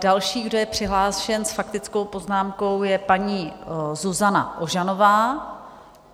Další, kdo je přihlášen s faktickou poznámkou, je paní Zuzana Ožanová.